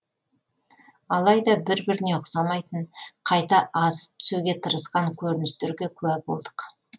алайда бір біріне ұқсамайтын қайта асып түсуге тырысқан көріністерге куә болдық